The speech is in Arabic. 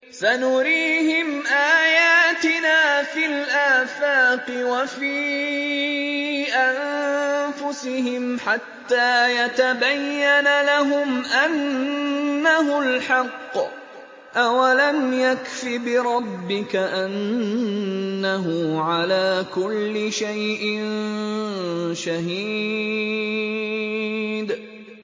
سَنُرِيهِمْ آيَاتِنَا فِي الْآفَاقِ وَفِي أَنفُسِهِمْ حَتَّىٰ يَتَبَيَّنَ لَهُمْ أَنَّهُ الْحَقُّ ۗ أَوَلَمْ يَكْفِ بِرَبِّكَ أَنَّهُ عَلَىٰ كُلِّ شَيْءٍ شَهِيدٌ